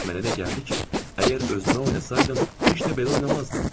Mənə də gəldi ki, əgər özümə oynasaydım, heç də belə oynamazdım.